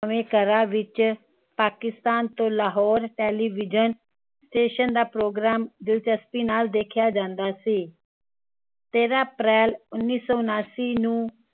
ਘਰਾਂ ਵਿਚ ਪਾਕਿਸਤਾਨ ਤੋਂ ਲਾਹੌਰ television station ਦਾ ਪ੍ਰੋਗਰਾਮ ਦਿਲਚਸਪੀ ਨਾਲ ਦੇਖਿਆ ਜਾਂਦਾ ਸੀ ਤੇਰਾਂ ਅਪ੍ਰੈਲ ਉੱਨੀ ਸੋ ਉਣਾਸੀ ਨੂੰ